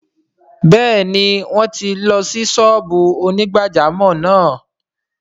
Bẹ́ẹ̀ni wọ́n ti ṣí ṣọ́ọ́bù onígbàjámọ̀ náà